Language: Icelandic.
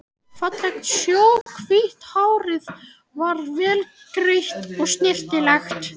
Fallegt snjóhvítt hárið var vel greitt og snyrtilegt.